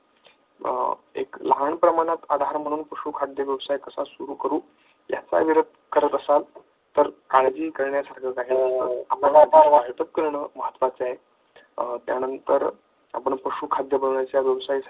एक लहान प्रमाणात आधार म्हणून पशुखाद्य व्यवसाय कसा सुरू करू याचा विचार करत, असाल तर काळजी करण्यासारखं काही नाही महत्त्वाचं आहे त्यानंतर आपण पशुखाद्य व्यवसायासाठी